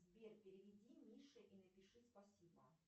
сбер переведи мише и напиши спасибо